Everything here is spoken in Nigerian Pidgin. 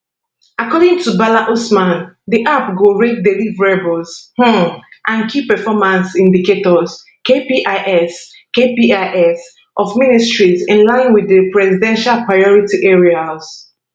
according to bala usman di app go rate deliverables um and key performance indicators kpis kpis of ministries in line wit di presidential priority areas